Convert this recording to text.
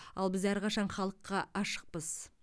ал біз әрқашан халыққа ашықпыз